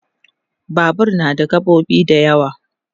Babur na da gaɓoɓi da yawa